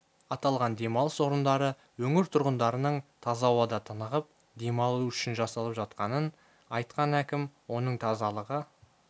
аталған демалыс орындары өңір тұрғындарының таза ауада тынығып демалуы үшін жасалып жатқанын айтқан әкім оның тазалығы